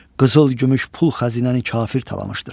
Qızıl-gümüş pul xəzinəni kafir talamışdır.